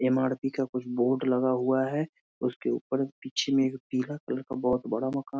MRP. का कुछ board लगा हुआ है। उसके ऊपर पीछे में एक पीला कलर का बहुत बड़ा मकान --